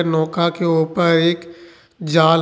नौका के ऊपर एक जाल है।